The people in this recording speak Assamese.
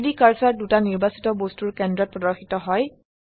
3ডি কাৰ্সাৰ দুটা নিৰ্বাচিত বস্তুৰ কেন্দ্ৰত প্ৰদৰ্শিত হয়